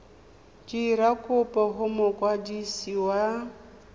dira kopo go mokwadisi wa